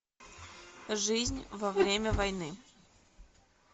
жизнь во время войны